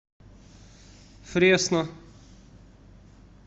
фресно